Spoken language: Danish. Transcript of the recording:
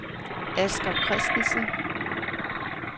Asger Kristensen